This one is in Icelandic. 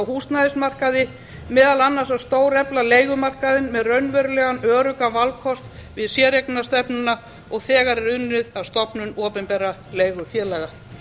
húsnæðismarkaði meðal annars að stórefla leigumarkaðinn með raunverulegan öruggan valkost við séreignarstefnuna og þegar er unnið að stofnun opinberra leigufélaga